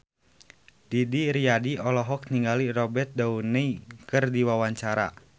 Didi Riyadi olohok ningali Robert Downey keur diwawancara